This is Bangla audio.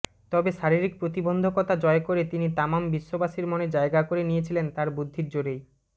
তবে শারীরিক প্রতিবন্ধকতা জয় করে তিনি তামাম বিশ্ববাসীর মনে জায়গা করে নিয়েছিলেন তাঁর বুদ্ধির জোরেই